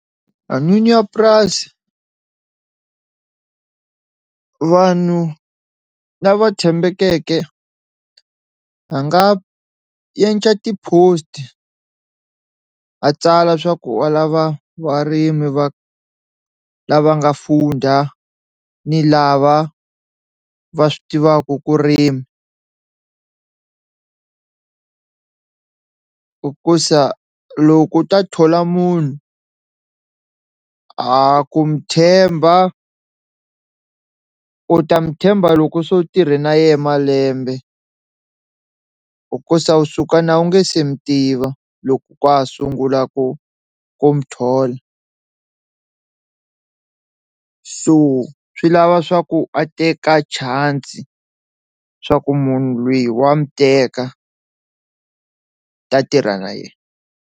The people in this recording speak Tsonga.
A n'wini ya purasi vanhu lava tshembekeke a nga yendla ti-post a tsala swa ku wa lava varimi va lava nga funda ni lava va swi tivaka ku rima hikusa loko u ta thola munhu a ku mi tshemba u ta n'wi tshemba loko se u tirhe na yehe malembe, u suka a wu nge se mu tiva loko ka ha sungula ku ku mu thola so swi lava swa ku a teka chance swa ku munhu loyi wa mi teka ta tirha na yena.